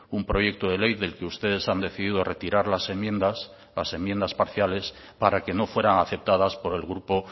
un proyecto de ley del que ustedes han decidido retirar las enmiendas las enmiendas parciales para que no fueran aceptadas por el grupo